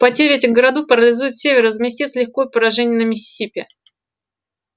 потеря этих городов парализует север и возместит с лихвой поражение на миссисипи